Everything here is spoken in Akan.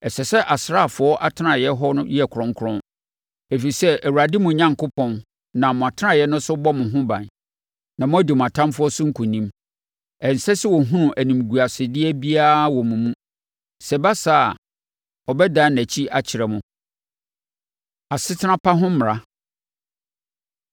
Ɛsɛ sɛ asraafoɔ atenaeɛ hɔ yɛ kronkron, ɛfiri sɛ, Awurade, mo Onyankopɔn, nam mo atenaeɛ no so bɔ mo ho ban, na moadi mo atamfoɔ so nkonim. Ɛnsɛ sɛ ɔhunu animguasedeɛ biara wɔ mo mu; sɛ ɛba saa a, ɔbɛdane nʼakyi akyerɛ mo. Asetena Pa Ho Mmara